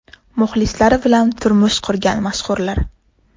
Muxlislari bilan turmush qurgan mashhurlar .